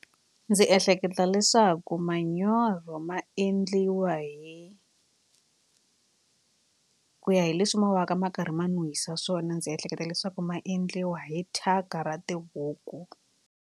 Ndzi ehleketa leswaku manyoro ma endliwa hi ku ya hi leswi mo ka ma karhi ma n'wi yisa swona ndzi ehleketa leswaku ma endliwa hi thyaka ra tibuku.